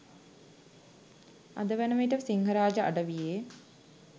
අද වන විට සිංහරාජ අඩවියේ